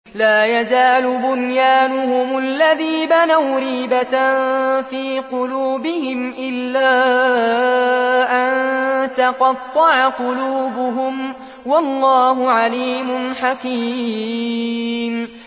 لَا يَزَالُ بُنْيَانُهُمُ الَّذِي بَنَوْا رِيبَةً فِي قُلُوبِهِمْ إِلَّا أَن تَقَطَّعَ قُلُوبُهُمْ ۗ وَاللَّهُ عَلِيمٌ حَكِيمٌ